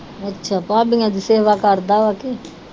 ਅੱਛਾ ਭਾਬੀਆ ਦੀ ਸੇਵਾ ਕਰਦਾ ਵਾ ਕੇ